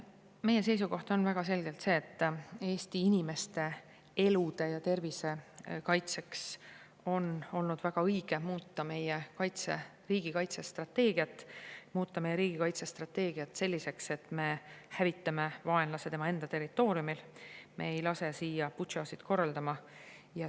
Meie seisukoht on väga selgelt see, et Eesti inimeste elude ja tervise kaitseks on olnud väga õige muuta meie riigikaitse strateegiat, muuta meie riigikaitse strateegia selliseks, et me hävitame vaenlase tema enda territooriumil, me ei lase teda siia Butšasid korraldama.